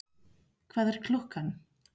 Hvað er klukkan?